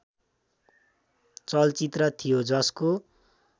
चलचित्र थियो जसको